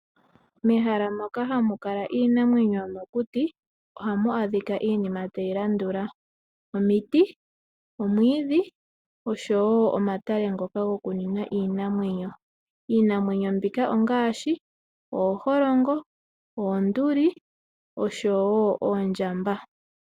Mehala moka hamukala iinamwenyo yomokuti ohamu adhika iinima tayilandula: omiti, omwiidhi, oshowoo omatale ngoka gokunwina iinamwenyo. Iinamwenyo mbika ongaashi: ooholongo, oonduli, oshowoo oondjamba.